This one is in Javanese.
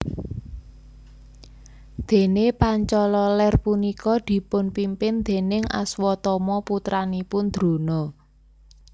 Dene Pancala Ler punika dipun pimpin déning Aswatama putranipun Drona